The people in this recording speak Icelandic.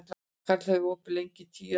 Kali, hvað er opið lengi í Tíu ellefu?